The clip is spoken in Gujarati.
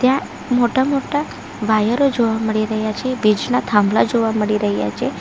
મોટા મોટા વાયરો જોવા મળી રહ્યા છે વીજના થાંભલા જોવા મળી રહ્યા છે.